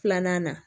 Filanan na